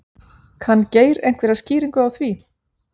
Kann Geir einhverja skýringu á því?